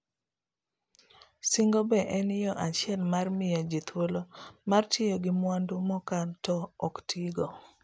singo be en yo achiel mar mio ji thuolo mar tiyo gi mwandu mokan to oktigo.